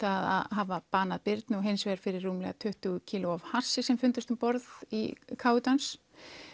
að hafa banað Birnu og hins vegar fyrir rúmlega tuttugu kíló af hassi sem fundust um borð í káetu hans